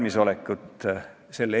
Ma olen nõus, see teema on emotsionaalne.